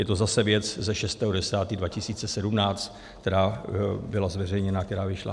Je to zase věc ze 6. 10. 2017, která byla zveřejněna, která vyšla.